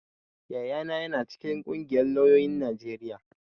Yayana ya na cikin ƙungiyar lauyoyin Najeriya